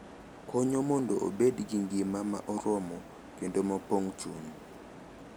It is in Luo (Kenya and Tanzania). Konyo mondo obed gi ngima ma oromo kendo ma pong’o chuny.